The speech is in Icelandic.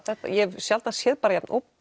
þetta ég hef sjaldan séð bara jafn